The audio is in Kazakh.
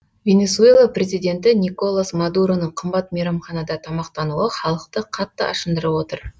венесуэла президенті николас мадуроның қымбат мейрамханада тамақтануы халықты қатты ашындырып отыр